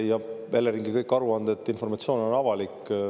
Kõik Eleringi aruanded, kogu informatsioon on avalik.